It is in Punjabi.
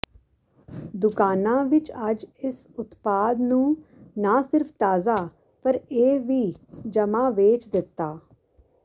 ਦੁਕਾਨਾ ਵਿੱਚ ਅੱਜ ਇਸ ਉਤਪਾਦ ਨੂੰ ਨਾ ਸਿਰਫ ਤਾਜ਼ਾ ਪਰ ਇਹ ਵੀ ਜਮਾ ਵੇਚ ਦਿੱਤਾ